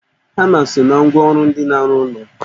Hama so na ngwa ọrụ ndị na-arụ ụlọ